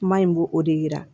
Kuma in b'o o de yira